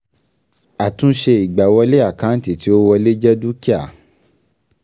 ÀTÚNṢE ÌGBÀWỌLÉ àkáǹtì tí ó wọlé jẹ dúkìá.